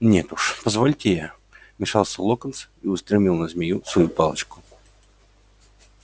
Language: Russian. нет уж позвольте я вмешался локонс и устремил на змею свою палочку